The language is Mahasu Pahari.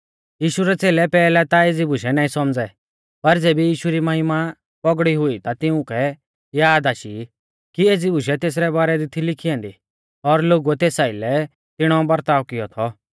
यीशु रै च़ेलै पैहलै ता एज़ी बुशै नाईं सौमझ़ै पर ज़ेबी यीशु री महिमा पौगड़ौ हुई ता तिउंकै याद आशी कि एज़ी बुशै तेसरै बारै दी थी लिखी ऐन्दी और लोगुऐ तेस आइलै तिणौ बरताव किऔ थौ